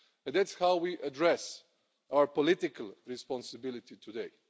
That's how we address our political responsibility today.